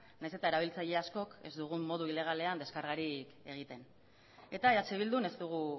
nahiz eta erabiltzaile askok ez dugun modu ilegalean deskargarik egiten eta eh bildun ez dugu